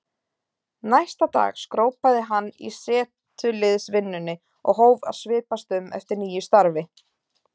Næsta dag skrópaði hann í setuliðsvinnunni og hóf að svipast um eftir nýju starfi.